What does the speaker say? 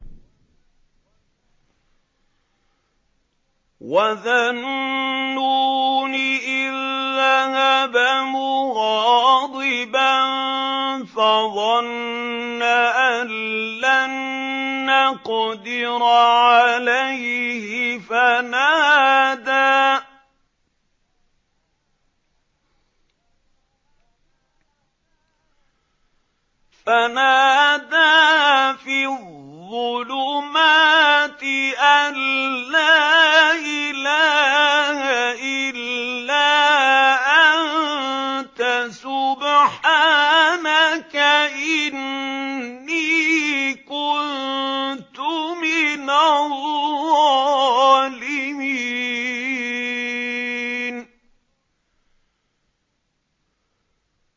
وَذَا النُّونِ إِذ ذَّهَبَ مُغَاضِبًا فَظَنَّ أَن لَّن نَّقْدِرَ عَلَيْهِ فَنَادَىٰ فِي الظُّلُمَاتِ أَن لَّا إِلَٰهَ إِلَّا أَنتَ سُبْحَانَكَ إِنِّي كُنتُ مِنَ الظَّالِمِينَ